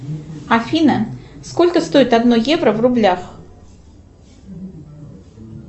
афина сколько стоит одно евро в рублях